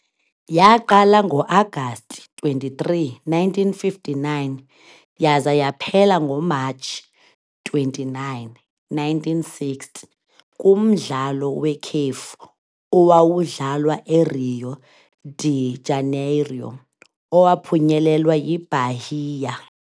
Yaqala ngoAgasti 23, 1959, yaza yaphela ngoMatshi 29, 1960, kumdlalo wekhefu owawudlalwa eRio de Janeiro, owaphunyelelwa yiBahia.